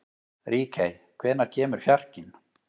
Ríkey, hvenær kemur fjarkinn?